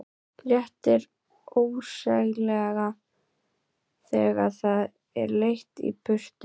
Léttir ósegjanlega þegar það er leitt í burtu.